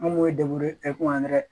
An b'o ye ɛkitɛri